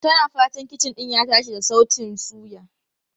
Tana fatan kicin din ya tashi da sautin yiya.